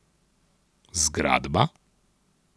Zgradba?